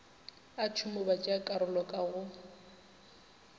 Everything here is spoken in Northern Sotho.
a tšhomo batšeakarolo ka go